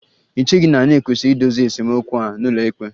Ì cheghị na e kwesịrị idozi esemokwu a n'ụlọikpe?